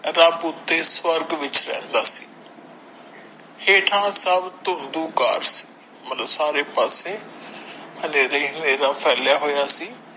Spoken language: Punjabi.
ਰੱਬ ਉੱਤੇ ਸਵਰਗ ਵਿੱਚ ਰਹਿੰਦਾ ਸੀ ਹੇਠਾਂ ਸਬ ਘਾਟ ਹੈ ਮਤਲਬ ਸਾਰੇ ਪਾਸੇ ਹਨੇਰਾ ਹੀ ਹਨੇਰਾ ਫੈਲਿਆ ਹੋਇਆ ਸੀ।